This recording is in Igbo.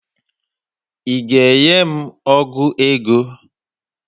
Ị ga-enye m ọgụ ego?